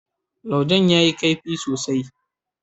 laujen ya yi kaifi sosai.